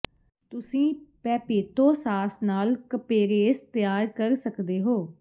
ਤੁਸੀਂ ਪੈਪੇਤੋ ਸਾਸ ਨਾਲ ਕਪੇਰੇਸ ਤਿਆਰ ਕਰ ਸਕਦੇ ਹੋ